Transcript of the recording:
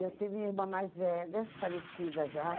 Eu tive a irmã mais velha, falecida já.